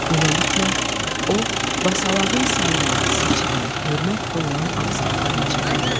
Beləliklə, o basalağın sayılan, seçilən, hörmət qoyulan ağsaqqalına çevrilib.